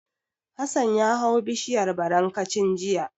Hassan ya hau bishiyar barankacin jiya.